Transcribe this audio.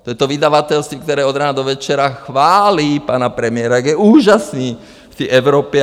To je to vydavatelství, které od rána do večera chválí pana premiéra, jak je úžasný v té Evropě.